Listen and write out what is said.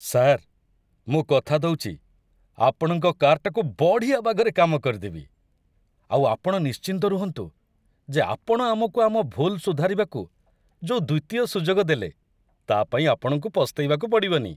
Sir, ମୁଁ କଥା ଦଉଚି ଆପଣଙ୍କ କାର୍‌ଟାକୁ ବଢ଼ିଆ ବାଗରେ କାମ କରିଦେବି, ଆଉ ଆପଣ ନିଶ୍ଚିନ୍ତ ରୁହନ୍ତୁ ଯେ ଆପଣ ଆମକୁ ଆମ ଭୁଲ୍ ସୁଧାରିବାକୁ ଯୋଉ ଦ୍ୱିତୀୟ ସୁଯୋଗ ଦେଲେ, ତା' ପାଇଁ ଆପଣଙ୍କୁ ପସ୍ତେଇବାକୁ ପଡ଼ିବନି !